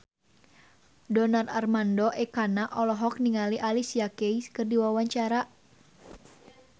Donar Armando Ekana olohok ningali Alicia Keys keur diwawancara